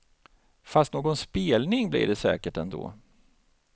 Fast någon spelning blir det säkert ändå.